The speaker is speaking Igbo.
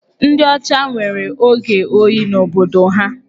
Ndị ọcha nwere oge oyi n'obodo ha.